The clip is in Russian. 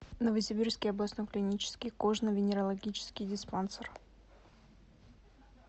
новосибирский областной клинический кожно венерологический диспансер